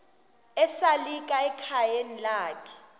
esalika ekhayeni lakhe